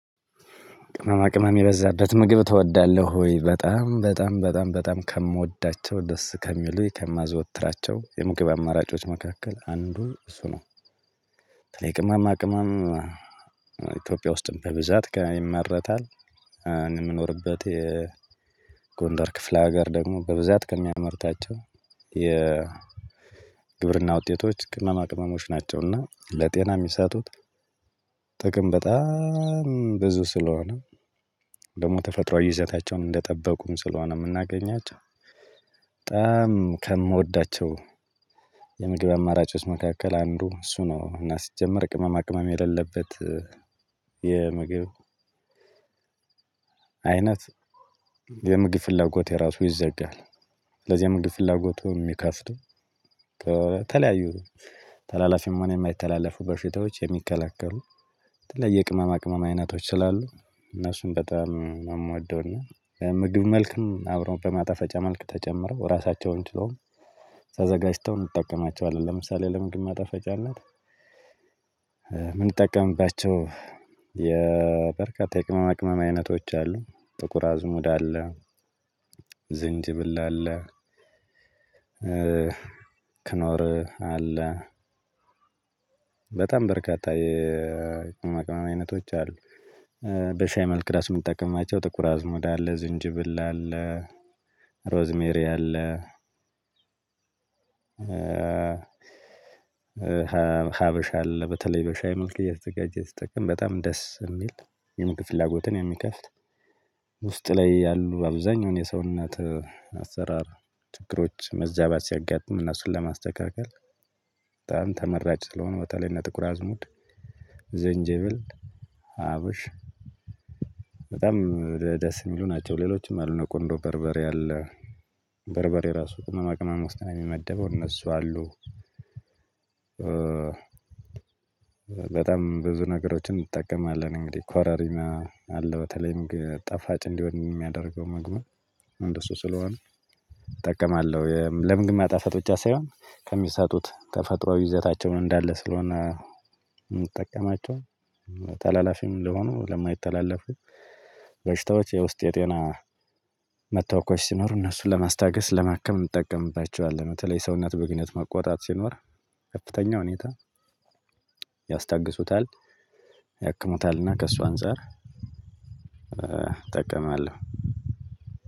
ቅመማ ቅመም የበዛበት ምግብ ትወዳለህ ወይ በጣም በጣም በጣም በጣም ከምወዳቸው ደስ ከሚሉኝ ከማዘወትራቸው የምግብ አማራጮች መካከል አንዱ እሱ ነው? በተለይ ቅመማ ቅመማ ኢትዮጵያ ውስጥም በብዛት ጋር ይመረታል። የምኖርበት የጎንደር ክፍላ ሀገር ደግሞ በብዛት ከሚያመርታቸው የ ግብርና ውጤቶች ቅመማ ቅመሞች ናቸው እና ለጤና የሚሰጡት ጥቅም በጣም ብዙ ስለሆነ። ደግሞ ተፈጥሮአዊ ይዘታቸውን እንደጠበቁም ስለሆነ የምናገኛቸው በጣም ከምወዳቸው የምግብ አማራጮች መካከል አንዱ እሱ ነው። እና ሲጀመር ቅመማ ቅመም የሌለበት የምግብ አይነት የምግብ ፍላጎቴ ራሱ ይዘጋል። ስለዚህ የምግብ ፍላጎቱን የሚከፍቱ ተለያዩ ተላላፊም ሆነ የማይተላለፉ በሽታዎች የሚከለክሉ የተለየ ቅመማ ቅመማ አይነቶች ስላሉ እነሱን በጣም ነው የምወደው። እና ምግብ መልክን አብረው በማጣፈጫ መልክ ተጨምረው ራሳቸውን ችለው ተዘጋጅተው እንጠቀማቸዋለን። ለምሳሌ ለምግብ ማጣፈጫነት የምንጠቀምባቸው በርካታ የቅመማቅመም አይነቶች አሉ። ጥቁር አዝሙድ አለ። ዝንጅብል አለ። ክኖር አለ። በጣም በርካታ የቅመማቅመም አይነቶች አሉ። በሻይ መልክ ሩሱ የምጠቀማቸው ጥቁር አዝሙድ አለ ዝንጅብል አለ። ሮዝሜሪ አለ። ሀበሻ አለ በተለይ በሻይ መልክ እየተዘጋጀ እየተጠቀመ በጣም ደስ የሚል የምግብ ፍላጎትን የሚከፍት። ውስጥ ላይ ያሉ አብዛኛውን የሰውነት አሰራር ችግሮች መዛባት ሲያጋጥም እነሱን ለማስተካከል በጣም ተመራጭ ስለሆነ። በተለይ እነ ጥቁር አዝሙድ ዘንጀብል አብሽ በጣም ደስ የሚሉ ናቸው። ሌሎችም አሉ እነ ቁንዶ በርበሬ አለ። በርበሬ ራሱ ቅመማ ቅመም ውስጥ ነው የሚመደበው እነሱ አሉ። በጣም ብዙ ነገሮችን እንጠቀማለን እንግዲህ ኮረሪማ አለ በተለይም ግን ጣፋጭ እንዲሆን የሚያደርገው ምግብን እንደሱ ስለሆነ እጠቀማለሁ ለምግብ ማጣፈጥ ብቻ ሳይሆን ከሚሰጡት ተፈጥሮአዊ ይዘታቸውን እንዳለ ስለሆነ የምጠቀማቸው። ታላላፊም ለሆኑ ለማይተላለፉት በሽታዎች የውስጤ የጤና መታወኮች ሲኖሩ እነሱን ለማስታገስ ለማከም እንጠቀምባቸዋለን። በተለይ ሰውነት ብግነት መቆጣት ሲኖር ከፍተኛ ሁኔታ ያስታግሱታል ያክሙታል እና ከእሱ አንፃር እጠቀማለሁ።